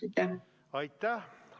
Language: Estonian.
Aitäh!